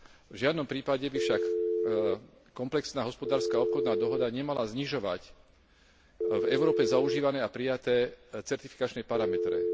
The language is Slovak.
V žiadnom prípade by však komplexná hospodárska obchodná dohoda nemala znižovať v Európe zaužívané a prijaté certifikačné parametre.